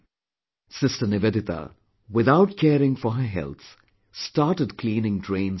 Sister Nivedita, without caring for her health, started cleaning drains and roads